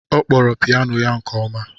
Ọ kpọrọ piyano ya nke ọma.